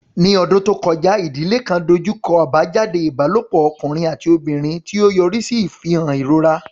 Ní ọdún tó kọjá, ìdílé kan dojú kọ àbájáde ìbálòpọ̀ ọkùnrin àti obìnrin, tí ó yọrí sí ìfihàn ìrora.